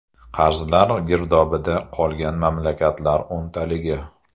Qarzlar girdobida qolgan mamlakatlar o‘ntaligi.